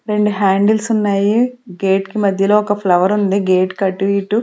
రెండు హ్యాండిల్స్ ఉన్నాయి గేట్ కి మధ్యలో ఒక ఫ్లవర్ ఉంది గేట్ కి అటు ఇటు.